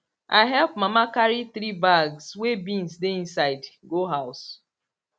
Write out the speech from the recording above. i help mama carry three bags wey beans dey inside go house